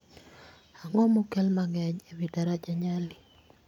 Ang'o ma okel manyien ewi daraja Nyali